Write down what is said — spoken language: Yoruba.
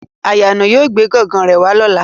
Ayano yóò gbe gan-gan re wa lọla